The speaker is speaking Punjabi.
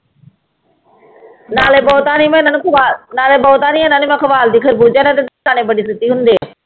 ਨਾਲੇ ਬਹੁਤਾ ਨੀ ਮੈਂ ਇਹਨਾਂ ਨੂੰ ਖਵਾ, ਨਾਲੇ ਬਹੁਤਾ ਨੀ ਇਹਨਾਂ ਨੂੰ ਮੈਂ ਖਵਾਲਦੀ ਖਰਬੂਜਾ ਇਹਨੇ ਛੇਤੀ ਹੁੰਦੇ ਹੈ।